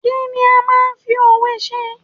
Kí ni a máa ń fi òwe ṣe?